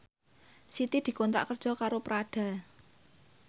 Siti dikontrak kerja karo Prada